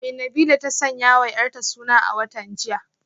Me Nabilah ta sanyawa yarta suna a watan jiya?